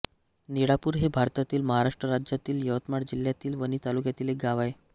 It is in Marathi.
निळापूर हे भारतातील महाराष्ट्र राज्यातील यवतमाळ जिल्ह्यातील वणी तालुक्यातील एक गाव आहे